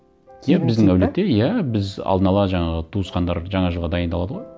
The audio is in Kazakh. біздің әулетте иә біз алдын ала жаңағы туысқандар жаңа жылға дайындалады ғой